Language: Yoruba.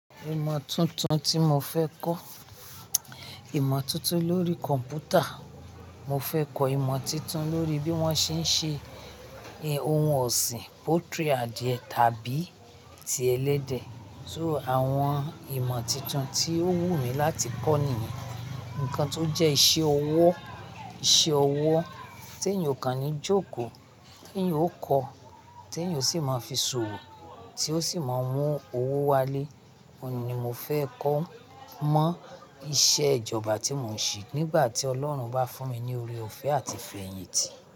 Ìmọ̀ tuntun tí mo fẹ́ kọ́, ìmọ̀ tuntun lórí kọ̀npútà. Mo fẹ́ kọ ìmo tuntun lórí bí wón ṣe ń ṣe ohun ọ̀sìn poultry adìẹ tàbí ti ẹlẹ́dẹ̀. So àwọn ìmo tuntun tí ó wù mí láti kọ niyen, ǹkan tó jẹ́ iṣẹ́ ọwọ́, iṣẹ́ ọwọ́ tí èèyàn o kàn ní jókòó, tí èèyàn ó kọ́, tí èèyàn o sì máa fi ṣòwò, tí ó sì máa ń mú owó wálé. Óun ni mo fẹ́ kọ́ mọ́ iṣẹ́ ìjọba tí mò ń ṣe nígbà tí Ọlọ́run bá fún mi ní oore-ọ̀fẹ́ àti ìfẹ́yìntì.